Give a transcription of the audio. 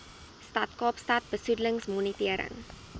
stad kaapstad besoedelingsmonitering